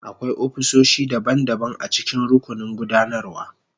Akwai ofisoshi daban-daban a cikin rukunin gudanarwa.